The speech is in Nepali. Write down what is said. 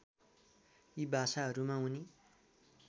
यी भाषाहरूमा उनी